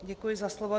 Děkuji za slovo.